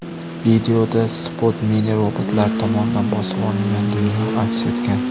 Videoda SpotMini robotlari tomonidan bosib olingan dunyo aks etgan.